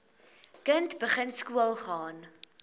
kind begin skoolgaan